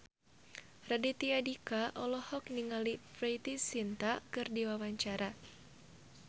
Raditya Dika olohok ningali Preity Zinta keur diwawancara